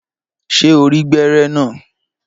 Ṣé o rí gbẹ́rẹ́ naa?